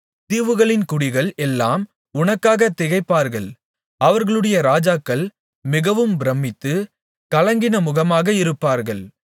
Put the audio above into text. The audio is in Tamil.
தீவுகளின் குடிகள் எல்லாம் உனக்காக திகைப்பார்கள் அவர்களுடைய ராஜாக்கள் மிகவும் பிரமித்து கலங்கின முகமாக இருப்பார்கள்